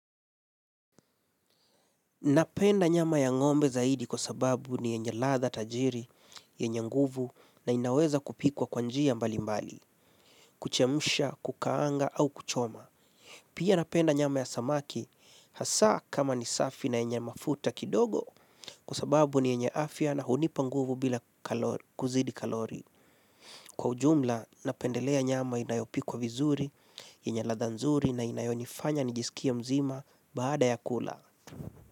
Napenda nyama ya ng'ombe zaidi kwa sababu ni yenye ladha tajiri, yenye nguvu na inaweza kupikwa kwa njia mbali mbali, kuchemsha, kukaanga au kuchoma. Pia napenda nyama ya samaki hasa kama ni safi na yenye mafuta kidogo kwa sababu ni yenye afya na hunipa nguvu bila kuzidi kalori. Kwa ujumla, napendelea nyama inayopikwa vizuri, yenye ladha nzuri na inayonifanya nijisikie mzima baada ya kula.